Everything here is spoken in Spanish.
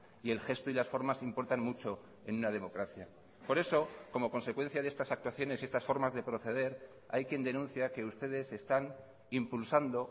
y el gesto y las formas importan mucho en una democracia por eso como consecuencia de estas actuaciones y estas formas de proceder hay quien denuncia que ustedes están impulsando